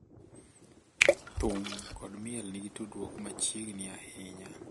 thum kod miel nigi tudruok machiegni ahinya.